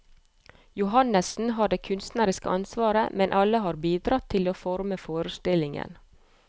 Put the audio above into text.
Johannessen har det kunstneriske ansvaret, men alle har bidratt til å forme forestillingen.